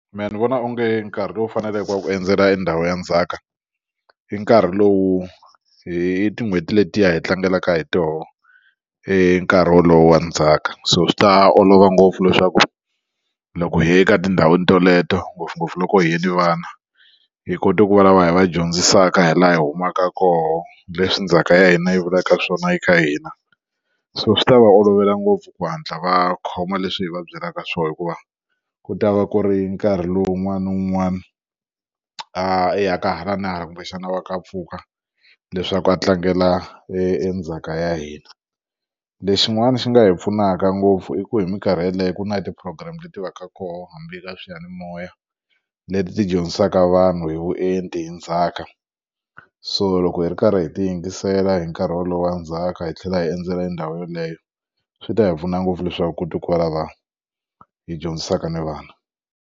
Mehe ni vona onge nkarhi lowu faneleke wo endzela ndhawu ya ndzhaka i nkarhi lowu hi tin'hweti letiya hi tlangelaka hi toho i nkarhi wolowo wa ndzhaka so swi ta olova ngopfu leswaku loko hi ye eka etindhawini teleto ngopfungopfu loko hi yini vana hi kote ku vulavula hi va dyondzisaka hi laha hi humaka koho leswi ndzhaka ya hina yi vulaka swona hi ka hina so swi ta va olovela ngopfu ku hatla va khoma leswi hi va byelaka swona hikuva ku ta va ku ri nkarhi lowu un'wana na un'wana a ya ka hala na hala kumbexana va ka a pfuka leswaku a tlangela endzhaka ya hina lexin'wana xi nga hi pfunaka ngopfu i ku hi minkarhi yeleyo ku na hi ti program leti va ka kona hambi eka swiyanimoya leti ti dyondzisaka vanhu hi vuenti hi ndzhaka so loko hi ri karhi hi ti yingisela hi nkarhi wolowo ndzhaka hi tlhela hi endzela ndhawu yeleyo swi ta hi pfuna ngopfu leswaku ku ta kwala vanhu hi dyondzisaka ni vana.